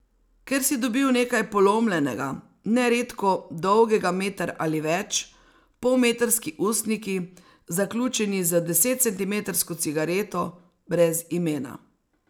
Ker si dobil nekaj polomljenega, neredko dolgega meter ali več, polmetrski ustniki, zaključeni z desetcentimetrsko cigareto, brez imena.